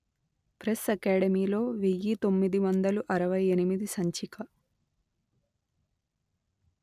press అకాడమీలో వెయ్యి తొమ్మిది వందలు అరవై ఎనిమిది సంచిక